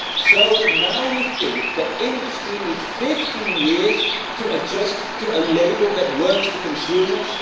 So now we think that industry needs 15 years to adjust to a label that works for consumers?